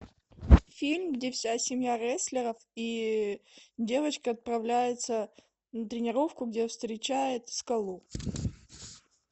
фильм где вся семья рестлеров и девочка отправляется на тренировку где встречает скалу